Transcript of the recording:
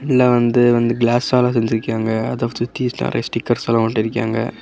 இதுல வந்து வந்து கிலாஸ்ஸால செஞ்சுருகியாங்க அத சுத்தி நெறயயா ஸ்டிக்கர்ஸ்லாம் ஒட்டிருக்கியாங்க.